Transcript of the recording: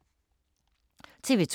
TV 2